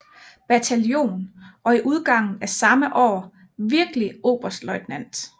Bataljon og i udgangen af samme år virkelig oberstløjtnant